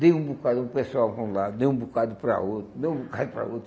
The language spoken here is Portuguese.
Dei um bocado para o pessoal para um lado, dei um bocado para outro, dei um bocado para outro.